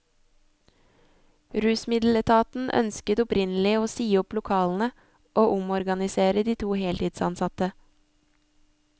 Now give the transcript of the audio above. Rusmiddeletaten ønsket opprinnelig å si opp lokalene og omorganisere de to heltidsansatte.